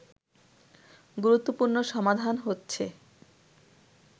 গুরুত্বপূর্ণ সমাধান হচ্ছে